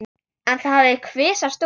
En það hafi kvisast út.